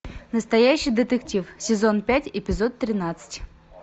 настоящий детектив сезон пять эпизод тринадцать